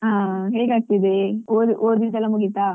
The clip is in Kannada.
ಹಾ ಹೇಗಾಗ್ತಾದೆ ಓದ್~ ಓದಿದೆಲ್ಲ ಮುಗಿತಾ?